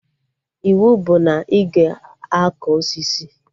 Iwu bụ na ị ga akọ osisi!